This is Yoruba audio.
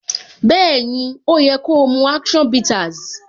Bẹẹni, ó yẹ ko mu action bitters.